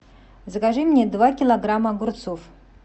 закажи мне два килограмма огурцов